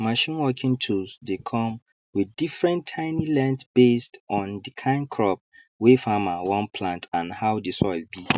machine working tools dey come with different tiny length based on the kind crop wey farmer wan plant and how the soil be